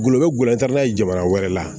Gulɔ bɛ gulɔ ta n'a ye jamana wɛrɛ la